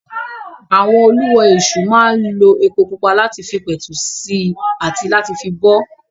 Àwọn Olú ọ Èṣù máa ń lo epo pupa láti fi pẹ̀tù sí i àti láti fi bọ ọ́.